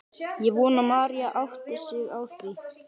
Ég vona að Mary átti sig á því.